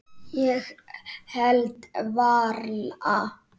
Ég held varla.